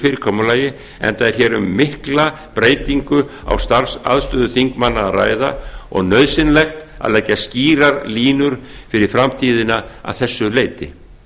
fyrirkomulagi enda er hér um að ræða mikla breytingu á starfsaðstöðu þingmanna og nauðsynlegt að leggja skýrar línur fyrir framtíðina að þessu leyti